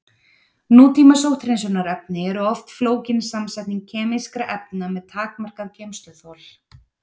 Nútíma sótthreinsunarefni eru oft flókin samsetning kemískra efna með takmarkað geymsluþol.